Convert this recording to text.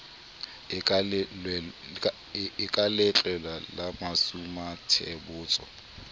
e ka letlwepe la masumuathebotsho